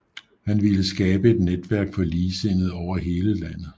Han ville skabe et netværk for ligesindede over hele landet